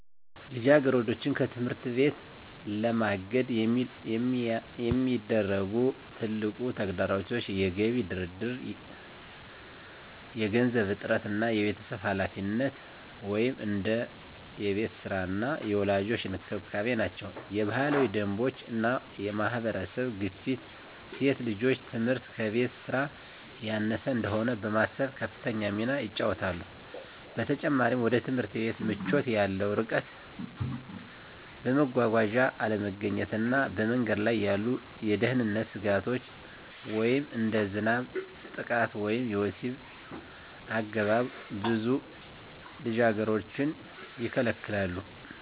ልጃገረዶችን ከትምህርት ለማገድ የሚያደርጉ ትልቁ ተግዳሮቶች የገቢ ድርድር፣ የገንዘብ እጥረት እና የቤተሰብ ኃላፊነት (እንደ የቤት ሥራ እና የወላጆች እንክብካቤ) ናቸው። የባህላዊ ደንቦች እና የማህበረሰብ ግፊት ሴት ልጆች ትምህርት ከቤት ሥራ ያነሰ እንደሆነ በማሰብ ከፍተኛ ሚና ይጫወታሉ። በተጨማሪም፣ ወደ ትምህርት ቤት ምቾት ያለው ርቀት፣ የመጓጓዣ አለመገኘት እና በመንገድ ላይ ያሉ የደህንነት ስጋቶች (እንደ ዝናብ፣ ጥቃት ወይም የወሲብ አገባብ) ብዙ ልጃገረዶችን ይከለክላሉ።